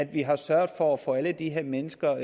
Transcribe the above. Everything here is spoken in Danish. vi har sørget for at få alle de her mennesker